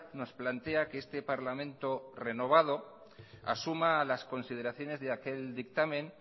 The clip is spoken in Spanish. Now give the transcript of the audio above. nos plantea que este parlamento renovado asuma las consideraciones de aquel dictamen